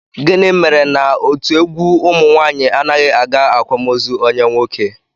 Gịnị mere na otu egwu ụmụnwaanyị anaghị aga akwamozu onye nwoke?